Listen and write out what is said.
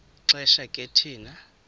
xesha ke thina